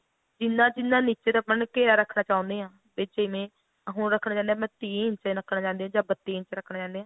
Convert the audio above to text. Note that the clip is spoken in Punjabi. ਜਿੰਨਾ ਜਿੰਨਾ ਨੀਚੇ ਮਤਲਬ ਘੇਰਾ ਰੱਖਣਾ ਚਾਹੁੰਦੇ ਹਾਂ ਵੀ ਜਿਵੇਂ ਆ ਹੁਣ ਰੱਖਣਾ ਚਾਹੁੰਦੇ ਆ ਤੀਹ ਇੰਚ ਰੱਖਣਾ ਚਾਹੁੰਦੇ ਆ ਜਾਂ ਬੱਤੀ ਇੰਚ ਰੱਖਣਾ ਚਾਹੁੰਦੇ ਹੋ